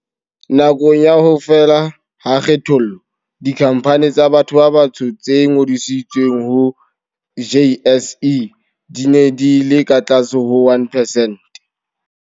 Nakong ya ho fela ha kgethollo, dikhampani tsa batho ba batsho tse ngodisitsweng ho JSE di ne di le ka tlase ho 1 percent.